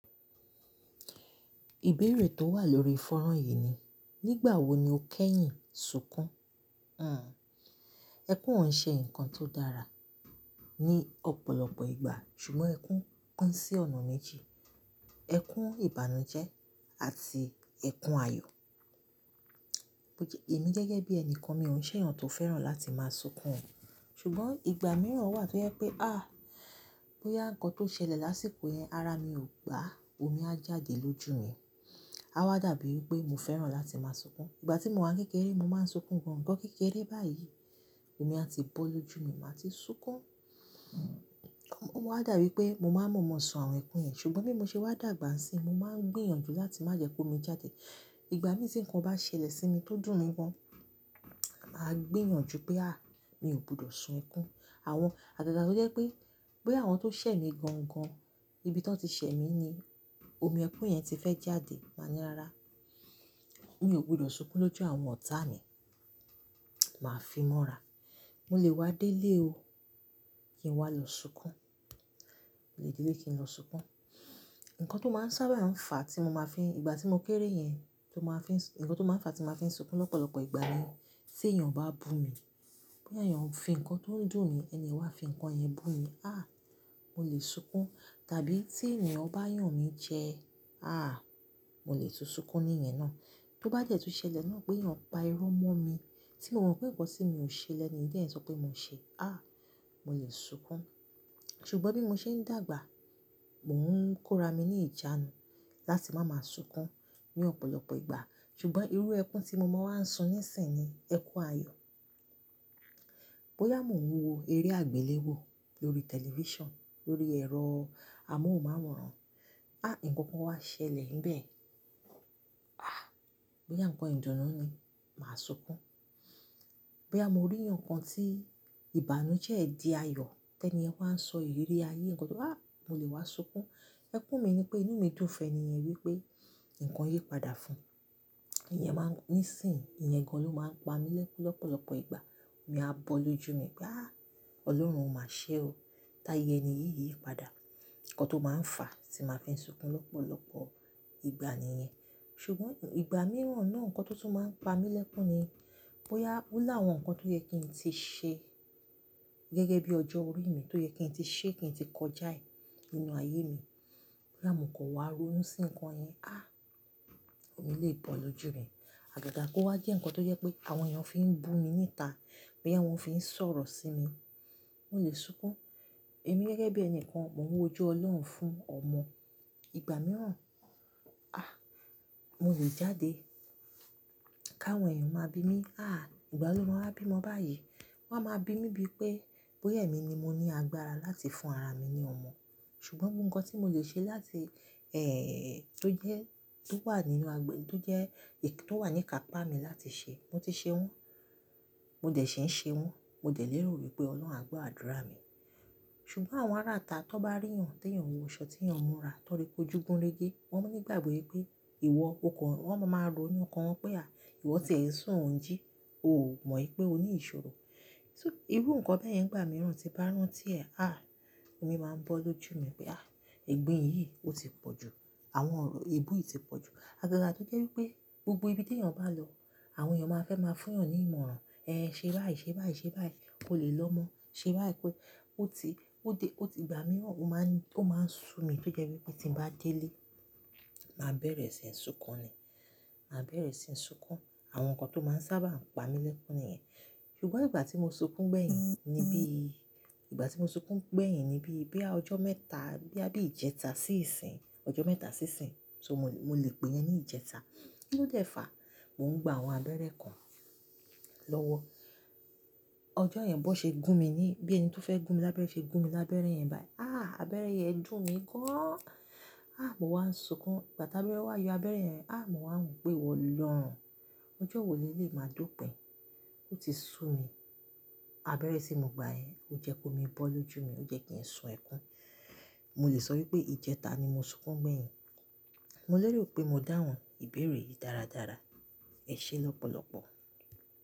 Ìbéèrè tó wà lórí ìfọ̀rọ̀ yìí ni, nígbà wo ni o kẹ́yìn sunkún? Àn, ẹkún òún ṣe ǹkan tó dára ní ọ̀pọ̀lọpọ̀ ìgbà, ṣùgbọ́n ẹkún kán sí ọ̀nà méjì. Ẹkún ìbànújẹ́ àti ẹkún ayọ̀. Èmi gẹ́gẹ́ bí ẹni kan, mi ò n ṣe èèyàn tó fẹ́ràn láti máa sunkún. Ṣùgbọ́n ìgbà mìíràn wà tó jẹ́ pé, áàh! Bóyá ǹkan tó ṣẹlẹ̀ lásìkò yẹn, ara mi ò gba, omi a jáde lójú mi. A wá dàbí pé mo fẹ́ràn láti máa sunkún. Ìgbà tí mo wà ní kékeré, mo máa ń sunkún gan gan kékeré báyìí. Omi a ti bọ́ lójú mi, màá ti sunkún. Mo wá dàbí pé mo máa mọ̀ọ́mọ̀ sọ̀rọ̀ ẹ̀kún yẹn, ṣùgbọ́n bí mo ṣe wá dàgbà si, mo máa ń gbìyànjú láti má jẹ́ kó mi jáde. Ìgbà mìíràn tí ǹkan bá ṣẹlẹ̀ sí mi tó dùn gan, màá gbìyànjú pé àh! Mi ò gbudọ̀ sun ẹkún. Àwọn àgàgà tó jẹ́ pé, bóyá àwọn tó ṣẹ̀ mí gangan, ibi tí wọ́n ti ṣẹ̀ mí ni omi ẹ̀kún yẹn ti fẹ́ jáde. Màá ní rárá, mí ò gbọdọ̀ sunkún lójú àwọn ọ̀tá mi. Màá fi mọ́ra. Mo lè wá délé o, kí n wá lọ sunkún. Mo lè délé kí n lọ sunkún. Ǹkan tó máa ń sábà ń fa tí mo máa fi-- ìgbà tí mo kéré yẹn, tó máa fi-- ǹkan tó máa ń fa tí mo máa fi sunkún lọ́pọ̀lọpọ̀ ìgbà ni, tí èèyàn bá bu mi. Bóyá èèyàn fí ǹkan tó ń dùn ni, ẹniyàn wá fí ǹkan yẹn bu mi. Àh! Mo lè sunkún. Tàbí tí èèyàn bá yàn mí jẹ, àh! Mo lè tu sunkún ni iyẹn náà. Tó bá jẹ́ tu ṣẹlẹ̀ náà pé èèyàn pa irọ́ mọ́ mi, tí àwọn ǹkan pẹ̀tẹ̀ sí mi ò ṣe lẹ́ni yẹn sọ pé mo ṣe, àh! Mo lè sunkún. Ṣùgbọ́n bí mo ṣe ń dàgbà, mò ń kóra mi ní ìjánu láti má má sunkún ní ọ̀pọ̀lọpọ̀ ìgbà. Ṣùgbọ́n irú ẹkún tí mo máa ń sun nísìnyi ẹkún ayọ̀. Bóyá mò ń wo eré àgbéléwò lórí tẹ̀lifísàn, lórí ẹ̀rọ amóhùnmáwòrán, àh! Ǹkan kan wá ṣẹlẹ̀ níbẹ̀, àh! Bóyá ǹkan ìdùnnú ni, màá sunkún. Bí a mo rí ǹkan tí ìbànújẹ́ di ayọ̀, tẹni ẹniyàn wá ń sọ ìrírí ayé ǹkan tó-- àh! Mo lè wá sunkún. Ẹkún mi ni pé inú mi dùn fún ẹniyàn wípé ǹkan yí padà fún. Ìyẹn máa ń-- nísìnyi ẹ̀yẹ kan ló máa ń pa mí lẹ́kún lọ́pọ̀lọpọ̀ ìgbà. Omi a bọ́ lójú mi pé àh! Ọlọ́run má ṣé o, táyé ẹni yíyí padà. Ǹkan tó máa ń fà tí màá fi sunkún lọ́pọ̀lọpọ̀ ìgbà ni iyẹn. Ṣùgbọ́n ìgbà mìíràn náà ǹkan tó tún máa ń pa mí lẹ́kún ni, bóyá ó láwọn ǹkan tó yẹ kí n tí ṣe, gẹ́gẹ́ bí ọjọ́ orí mi tó yẹ kí n tí ṣe kí n tí kọjá ì nínú ayé mi. Bóyá mò ń kọ wàá ronú sí ǹkan yẹn, àh! Omi lè bọ́ lójú mi. Àdàdà kó wá jẹ́ ǹkan tó jẹ́ pé àwọn èèyàn fi ń bu mi níta, bóyá wọ́n fi ń sọ̀rọ̀ sí mi, mò lè sunkún. Èmi gẹ́gẹ́ bí ẹni kan, mò ń wo ojú Ọlọ́run fún ọmọ. Ìgbà mìíràn, àh! Mo lè jáde. Ká àwọn èèyàn máa bi mí, àh! Ìgbà ló máa bí mọ báyìí. Wọ́n á máa bi mí bí pé bóyá èmi ni mo ní agbára láti fún ara mi ní ọmọ. Ṣùgbọ́n ohun kan tí mo lè ṣe láti, eh, tó jẹ́, tó wà nínú àgbè, tó jẹ́ èyí tó wà ní kàpá mi láti ṣe, mo ti ṣe wọ́n. Mo dẹ̀ ṣe ń ṣe wọ́n. Mo dẹ̀ lérò wípé Ọlọ́run á gbọ́ àdúrà mi. Ṣùgbọ́n àwọn ará ta tó bá rí ẹ̀yàn tó yàn wọṣọ tí èèyàn mọ́ra tọ́ri pé ojúgun lége, wọ́n máa ní ìgbàgbọ́ yín pé ìwọ kò kọ́-- wọ́n máa ń ro ní ọkàn wọn pé àh! Ìwọ tẹ̀ẹ́ sùn òun jí, o ò mọ̀ wípé o ní ìṣòro. Ṣó-- irú ǹkan bẹ́ẹ̀ yẹn ìgbà mìíràn ti bá rán tí ẹ, àh! Omi máa ń bọ́ lójú mi pé àh! Ìgbín yìí ó ti pọ̀ jù. Àwọn ọ̀rọ̀ ebú yìí ti pọ̀ jù. Àgàgà tó jẹ́ wípé gbogbo ibi tí èèyàn bá lọ, àwọn èèyàn máa fẹ́ máa fún èèyàn ní ìmọ̀ràn. Ẹ ṣe báyìí, ṣe báyìí, ṣe báyìí, ko lè lọ́ mọ́. Ṣe báyìí pé ó ti, ó dé, ó ti ìgbà mìíràn ó máa ń, ó máa ń sú mi tó jẹ́ wípé tí ń bá délé, màá bẹ̀rẹ̀ sí ń sunkún ni. Màá bẹ̀rẹ̀ sí ń sunkún. Àwọn ǹkan tó máa ń sábà ń pa mí lẹ́kún ni iyẹn. Ṣùgbọ́n ìgbà tí mo sunkún gbẹ̀yìn níbí, ìgbà tí mo sunkún gbẹ̀yìn níbí bí a ọjọ́ mẹ́ta, bí a bí ìjẹta sí ìsìn, ọjọ́ mẹ́ta sí ìsìn, tó mo lè pè yẹn ní ìjẹta. Ó dẹ̀ fà, mò ń gba àwọn abẹ́rẹ́ kan lọ́wọ́. Ọjọ́ yẹn bó ṣe gún mi ní, bí ẹni tó fẹ́ gún mi lábẹ́rẹ́ ṣe gún mi lábẹ́rẹ́ yẹn báyìí, àh! Abẹ́rẹ́ yẹn dùn mí gán. Àh! Mo wá ń sunkún. Ìgbà tábílátà wá yọ abẹ́rẹ́ yẹn, àh! Mo wà ń pè iwọ́ olọrun. Ọjọ́ wò ní eléyi máa dópin. Ó ti sú mi. Abẹ́rẹ́ tí mo gba yẹn ó jẹ́ kó mi bọ́ lójú mi, ó jẹ́ kí ń sùn ẹkún. Mo lè sọ wípé ìjẹta ni mo sunkún gbẹ̀yìn. Mo lérò pé mo dáhùn ìbéèrè yìí dáradára. Ẹ ṣé lọ́pọ̀lọpọ̀.